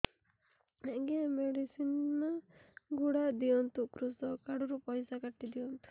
ଆଜ୍ଞା ଏ ମେଡିସିନ ଗୁଡା ଦିଅନ୍ତୁ କୃଷକ କାର୍ଡ ରୁ ପଇସା କାଟିଦିଅନ୍ତୁ